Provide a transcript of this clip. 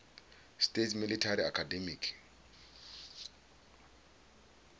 states military academy